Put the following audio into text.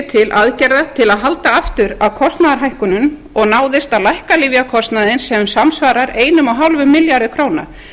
til aðgerða til að halda aftur af kostnaðarhækkunum og náðist að lækka lyfjakostnaðinn sem samsvarar eins og hálfum milljarði króna